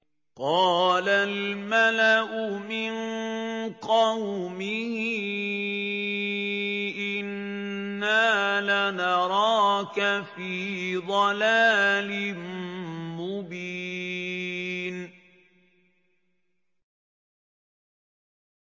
قَالَ الْمَلَأُ مِن قَوْمِهِ إِنَّا لَنَرَاكَ فِي ضَلَالٍ مُّبِينٍ